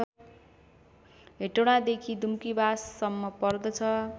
हेटौडादेखि दुम्कीवाससम्म पर्दछ